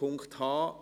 Punkt h: